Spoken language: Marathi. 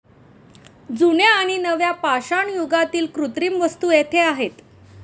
जुन्या आणि नव्या पाषाणयुगातील कृत्रिम वस्तू येथे आहेत.